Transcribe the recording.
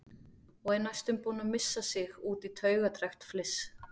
Og er næstum búin að missa sig út í taugastrekkt fliss.